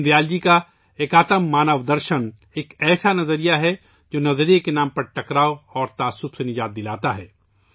دین دیال جی کا ' ایک آتما مانو درشن ' ایک ایسا نظریہ ہے، جو نظریے کے نام پر تنازعات اور تعصب سے آزادی دیتا ہے